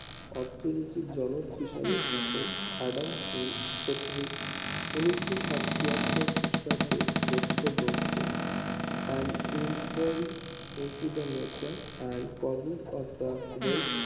অর্থনীতির জনক হিসাবে খেত আড়াল স্মত ক্ষত্রিক ঊনিশো ছিয়াত্তর খ্রিস্টাব্দে রচিত গ্রন্থ and enquiry into the nature and causes of the wealth